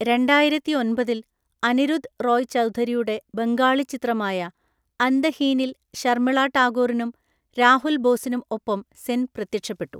രണ്ടായിരത്തിഒൻപതിൽ അനിരുദ്ധ് റോയ് ചൗധരിയുടെ ബംഗാളി ചിത്രമായ അന്തഹീനിൽ ശർമിള ടാഗോറിനും രാഹുൽ ബോസിനും ഒപ്പം സെൻ പ്രത്യക്ഷപ്പെട്ടു.